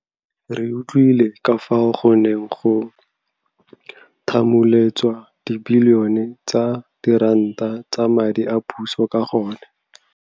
Re utlwile ka fao go neng go thamuletswa dibilione tsa diranta tsa madi a puso ka gone.